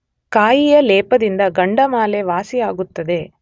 ಕಾಯಿಯ ಲೇಪದಿಂದ ಗಂಡಮಾಲೆ ವಾಸಿಯಾಗುತ್ತದೆ.